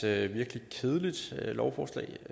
er et virkelig kedeligt lovforslag